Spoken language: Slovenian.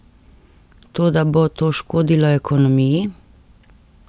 Toda bo to škodilo ekonomiji?